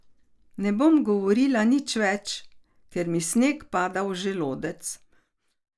Ne bom govorila nič več, ker mi sneg pada v želodec.